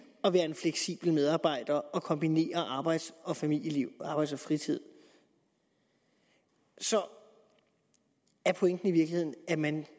at være en fleksibel medarbejder og kombinere arbejdsliv og familieliv arbejde og fritid så er pointen i virkeligheden at man